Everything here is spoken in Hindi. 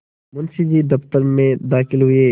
मुंशी जी दफ्तर में दाखिल हुए